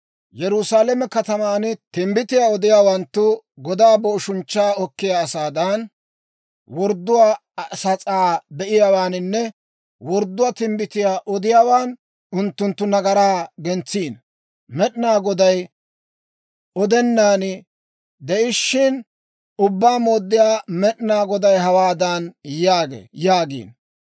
Yerusaalame kataman timbbitiyaa odiyaawanttu godaa booshunchchaa okkiyaa asaadan, wordduwaa sas'aa be'iyaawaaninne wordduwaa timbbitiyaa odiyaawan, unttunttu nagaraa gentsiino. Med'inaa Goday odennan de'ishiina, ‹Ubbaa Mooddiyaa Med'inaa Goday hawaadan yaagee› yaagiino.